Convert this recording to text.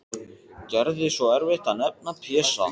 Gerði svo erfitt að nefna Pésa.